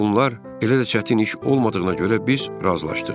Bütün bunlar elə də çətin iş olmadığına görə biz razılaşdıq.